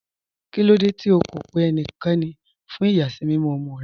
Kílòdé tí ó kó pẹ̀ ẹníkẹ́ní fún iyasimimọ̀ ọmọ́ rẹ̀?